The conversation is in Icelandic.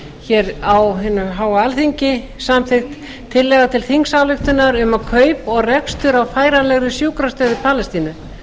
hér á hinu háa alþingi samþykkt tillaga til þingsályktunar um kaup og rekstur á færanlegri sjúkrastöð í palestínu